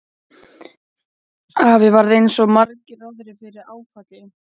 Afi varð eins og svo margir aðrir fyrir áfalli.